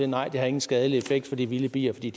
nej det har ingen skadelig effekt for de vilde bier for de